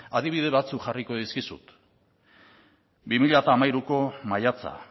adibide batzuk jarriko dizkizut bi mila hamairuko maiatza